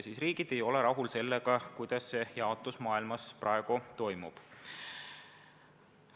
Riigid aga ei ole rahul sellega, kuidas see jaotus maailmas praegu toimub.